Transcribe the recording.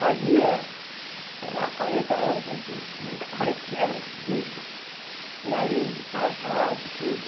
Fazia, sei lá, quarenta anos anos que a gente nunca mais tinha visto por aí, casado, tudo.